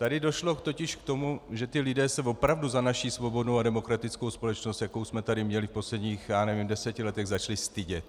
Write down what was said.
Tady došlo totiž k tomu, že ti lidé se opravdu za naši svobodnou a demokratickou společnost, jakou jsme tady měli v posledních, já nevím, deseti letech, začali stydět.